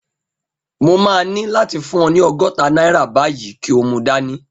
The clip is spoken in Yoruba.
Mo máa ní láti fún ọ ní ọgọ́ta náírà báyìí kí o mu dání